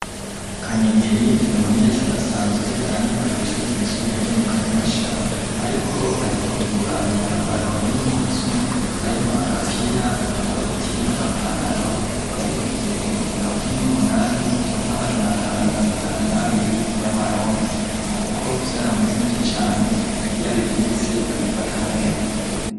Kanyegeri n'umunyeshuri asanzwe aniga kw'ishuri ryisumbuye ryo mu kanyosha ariko aheruka kugura imyambaro y'imputsu harimo agapira agakoti n'agapantaro yabiguze ibihumbi mirongo ine n'umunani n'amajanaatabo na mirongo itanu n'abiri y'amarundi kuko byaramuzimbye cyane iyabibitse abifata neza.